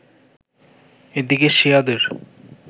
এদিকে শিয়াদের